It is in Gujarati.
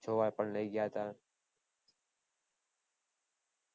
જોવા પણ લય ગયા હતા